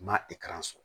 N ma ekitari sɔrɔ